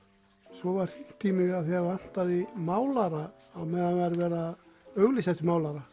svo var hringt í mig af því það vantaði málara á meðan það væri verið að auglýsa eftir málara